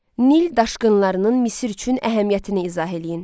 Nil daşqınlarının Misir üçün əhəmiyyətini izah eləyin.